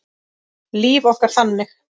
Líf okkar þannig?